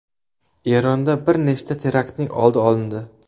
Eronda bir nechta teraktning oldi olindi.